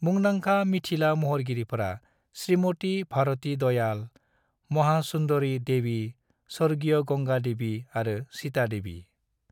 मुंदांखा मिथिला महरगिरिफोरा श्रीमती भारती दयाल, महासुंदरी देवी, स्वर्गीय गंगा देवी आरो सीता देवी।